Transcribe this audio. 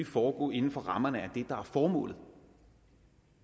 foregå inden for rammerne af det der er formålet